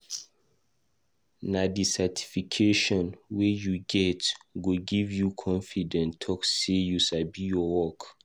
Nah di Certification wey u get go give u confidence talk say you sabi ur work.